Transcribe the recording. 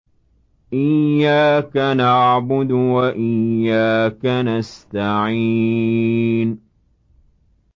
إِيَّاكَ نَعْبُدُ وَإِيَّاكَ نَسْتَعِينُ